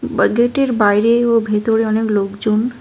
বাইরে ও ভেতরে অনেক লোকজন।